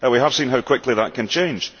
We have seen how quickly that can change.